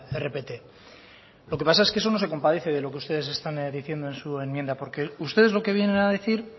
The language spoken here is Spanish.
rpt lo que pasa es que eso no se compadece de lo que ustedes están diciendo en su enmienda porque ustedes lo que vienen a decir